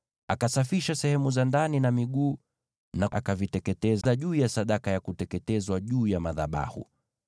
Akasafisha sehemu za ndani na miguu, akaviteketeza juu ya sadaka ya kuteketezwa juu ya madhabahu.